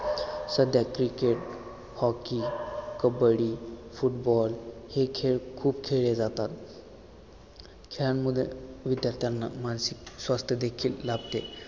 सध्या cricket hockey kabaddi football हे खेळ खूप खेळले जातात खेळांमुळे विद्यार्थ्यांना मानसिक स्वास्थ्य देखील लाभते